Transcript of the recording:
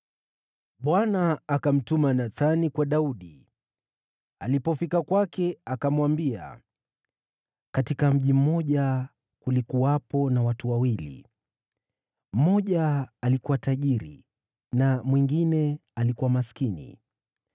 Bwana akamtuma Nathani kwa Daudi. Alipofika kwake akamwambia, “Katika mji mmoja kulikuwepo na watu wawili, mmoja alikuwa tajiri na mwingine alikuwa maskini.